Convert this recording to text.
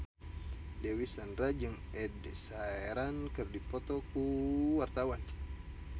Dewi Sandra jeung Ed Sheeran keur dipoto ku wartawan